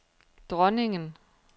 dronningen